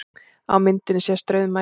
Á myndinni sést rauðmagi